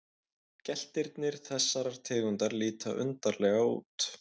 Geltirnir þessarar tegundar líta undarlega út.